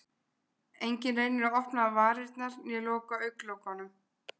Enginn reynir að opna varirnar né loka augnlokunum.